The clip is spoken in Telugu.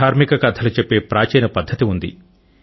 ధార్మిక కథలు చెప్పే ప్రాచీన పద్ధతి ఉంది